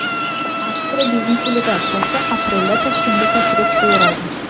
Avstriya biznes delegatsiyasi aprelda Toshkentga tashrif buyuradi.